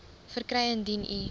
verkry indien u